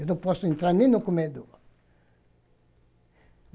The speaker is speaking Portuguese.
Eu não posso entrar nem no comedor.